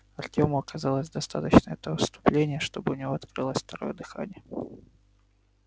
артему оказалось достаточно этого вступления чтобы у него открылось второе дыхание